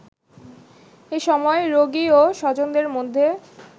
এসময় রোগী ও স্বজনদের মধ্যে